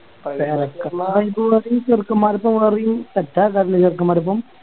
പേരക്കാർക്കൊപ്പം ചെറുക്കൻമ്മാരോപ്പം പോവർന്നെ Set ആക്കർന്നല്ലേ ചെറുക്കൻമ്മാരപ്പം